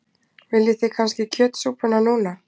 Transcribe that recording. Viljið þið kannski kjötsúpuna núna?